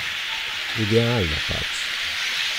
Idealna, pač.